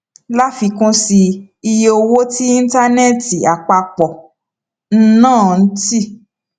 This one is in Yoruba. láfikún sí i iye owó tí íńtánẹẹtì àpapọ ń ná ti